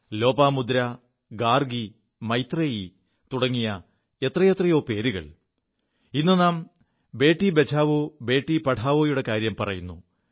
ലോപാമുദ്ര ഗാർഗി മൈത്രേയീ തുടങ്ങി എത്രയെത്രയോ പേരുകൾ ഇു നാം ബേി ബചാവോ ബേീ പഠാവോ യുടെ കാര്യം പറയുു